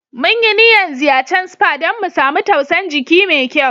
Mun yi niyan ziyacen spa dan mu samu tausan jiki mai kyau.